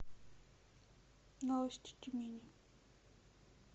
новости тюмени